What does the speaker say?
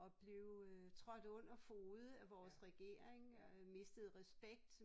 Og blev øh trådt under fode af vores regering øh mistede respekt